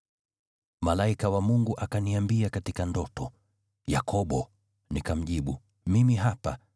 Malaika wa Mungu akaniambia katika ndoto, ‘Yakobo.’ Nikamjibu, ‘Mimi hapa.’